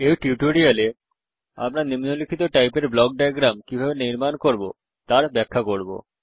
এই টিউটোরিয়াল এ আমরা নিম্নলিখিত টাইপের ব্লক ডায়াগ্রাম কিভাবে নির্মাণ করব তার ব্যাখ্যা করব